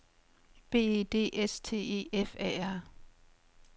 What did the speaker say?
B E D S T E F A R